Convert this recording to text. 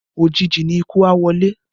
Òjìji ni ikú a wọlé